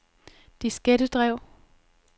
diskettedrev